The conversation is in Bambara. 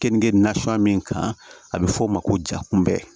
Kenige nasɔngɔ min kan a bɛ fɔ o ma ko ja kunbɛ